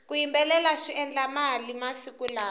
ku yimbelela swi endla mali masiku lawa